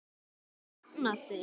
Jafna sig?